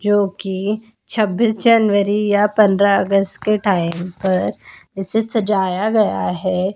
जो कि छब्बीस जनवरी या पंद्रह अगस्त के टाइम पर इसे सजाया गया है।